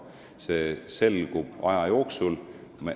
See selgub aja jooksul.